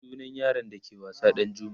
sunan yaron da ke wasa Ɗanjuma